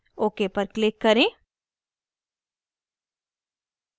ok पर click करें